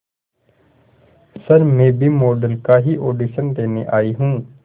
sir मैं भी model का ही ऑडिशन देने आई हूं